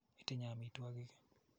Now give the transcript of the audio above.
Itinye amitwogik ii?